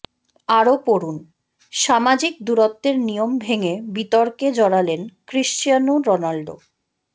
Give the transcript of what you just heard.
আরও পড়ুনঃসামাজিক দূরত্বের নিয়ম ভেঙে বিতর্কে জড়ালেন ক্রিশ্চিয়ানো রোনাল্ডো